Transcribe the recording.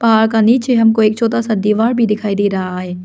पहाड़ का नीचे हमको एक छोटा सा दीवार भी दिखाई दे रहा है।